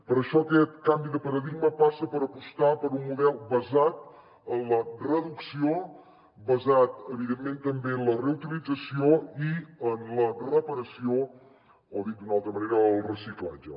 per això aquest canvi de paradigma passa per apostar per un model basat en la reducció basat evidentment també en la reutilització i en la reparació o dit d’una altra manera el reciclatge